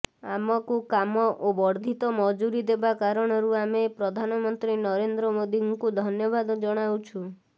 ଆମକୁ କାମ ଓ ବର୍ଦ୍ଧିତ ମଜୁରି ଦେବା କାରଣରୁ ଆମେ ପ୍ରଧାନମନ୍ତ୍ରୀ ନରେନ୍ଦ୍ର ମୋଦୀଙ୍କୁ ଧନ୍ୟବାଦ ଜଣାଉଛୁ